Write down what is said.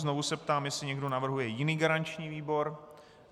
Znovu se ptám, jestli někdo navrhuje jiný garanční výbor.